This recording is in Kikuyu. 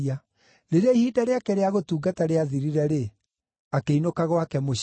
Rĩrĩa ihinda rĩake rĩa gũtungata rĩathirire-rĩ, akĩinũka gwake mũciĩ.